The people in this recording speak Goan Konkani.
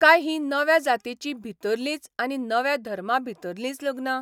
काय हीं नव्या जातीं भितरलींच आनी नव्या धर्मा भितरलींच लग्नां?